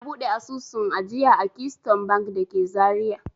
Na buɗe asusun ajiya a Keystone Bank da ke Zariya.